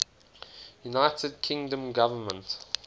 united kingdom government